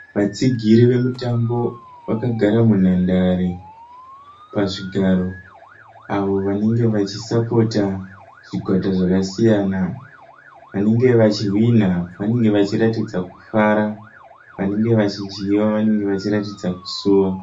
Vatsigiri vemutambo vakagara munhandare pazvigaro avo vanenge vachisapota zvikwata zvakasiyana, vanenge vachihwinha vanenge vachiratidza kufara vanenge vachidyiwa vanenge vachiratidza kusuwa.